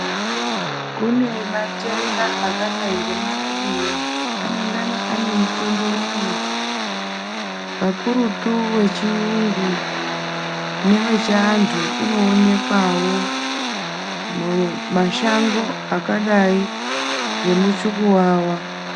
Kune matenda akadai ngemarariya anengana ane mutombo wawo kakurutu wechiyungu newe chiantu unoonekwawo mumashango akadai ngemuchukuwawa.